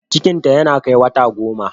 Cikinta ya kai wata goma